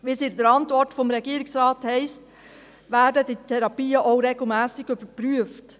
Wie es in der Antwort des Regierungsrates heisst, werden diese Therapien auch regelmässig überprüft.